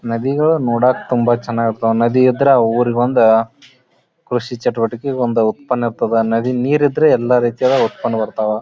ನದಿಗಳು ನೋಡಕ್ಕ ತುಂಬಾ ಚೆನ್ನಾಗಿ ಇರ್ತಾವ ನದಿ ಇದ್ರೆ ಆ ಊರಿಗೆ ಒಂದು ಕೃಷಿ ಚಟುವಟಿ ಒಂದು ಉತ್ಪನ್ನ ಇರ್ತಾದ್ದ ನದಿಯಲ್ಲಿ ನೀರು ಇದ್ರೆ ಎಲ್ಲ ರೀತಿಯ ಉತ್ಪನ್ನ ಬರ್ತದ್ದ.